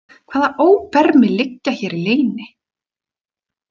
Hvaða óbermi liggja hér í leyni?